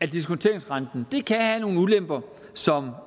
af diskonteringsrenten kan have nogle ulemper som